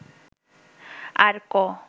আর ক